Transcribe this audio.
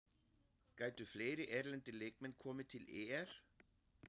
Gætu fleiri erlendir leikmenn komið til ÍR?